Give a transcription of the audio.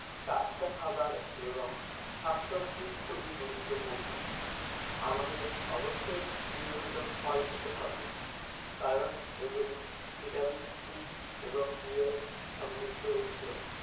টাটকা খাবার এবং শাকসবজি খুবি গুরুত্বপূর্ণ। আমাদের অবশ্যই নিয়মিত ফল খেতে হবে কারণ এগুলি vitamin c এবং b এর সমৃদ্ধ উৎস